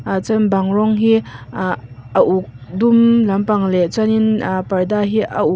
ah chuan bang rawng hi ah a uk dum lam pang leh chuanin ah parda hi a uk.